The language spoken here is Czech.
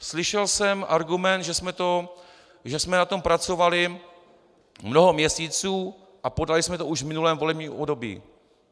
Slyšel jsem argument, že jsme na tom pracovali mnoho měsíců a podali jsme to už v minulém volebním období.